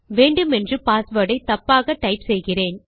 வேண்டுமென்று பாஸ்வேர்ட் ஐ தப்பாக டைப் செய்கிறேன்